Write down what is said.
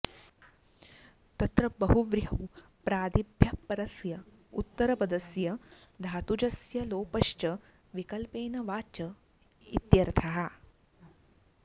तत्र बहुव्रीहौ प्रादिभ्यः परस्य उत्तरपदस्य धातुजस्य लोपश्च विकल्पेन वाच्य इत्यर्थः